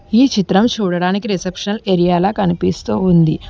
ఈ చిత్రం చూడడానికి రిసెప్షన్ ఏరియాల కనిపిస్తూ ఉంది.